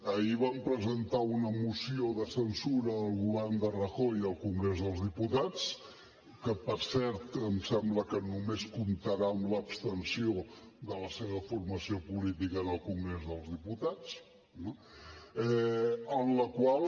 ahir vam presentar una moció de censura al govern de rajoy al congrés dels diputats que per cert em sembla que només comptarà amb l’abstenció de la seva formació política en el congrés dels diputats en la qual